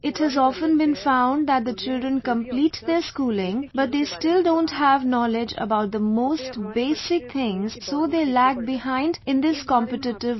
It has been often found that the children complete their schooling but they still don't have knowledge about the most basic things and so they lag behind in this competitive world